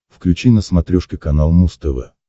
включи на смотрешке канал муз тв